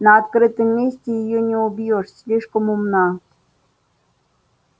на открытом месте её не убьёшь слишком умна